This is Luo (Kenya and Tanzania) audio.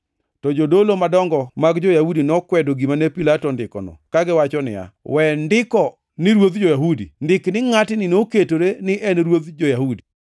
To jodolo madongo mag jo-Yahudi nokwedo gima ne Pilato ondikono kagiwacho niya, “We ndiko ni ‘Ruodh jo-Yahudi,’ ndik ni, ngʼatni noketore ni en ruodh jo-Yahudi.”